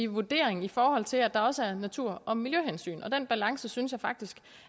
vurdering i forhold til at der også er natur og miljøhensyn og den balance synes jeg faktisk